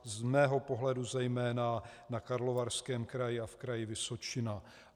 Z mého pohledu zejména na Karlovarském kraji a v Kraji Vysočina.